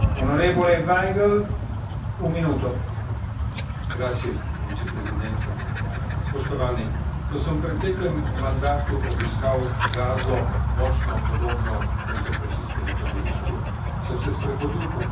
Ko sem v preteklem mandatu obiskal Gazo, močno podobno koncentracijskemu taborišču, sem se sprehodil po plaži, na kateri je nedavno pod streli umrla skupina otrok, ki so igrali nogomet.